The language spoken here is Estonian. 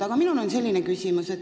Aga mul on selline küsimus.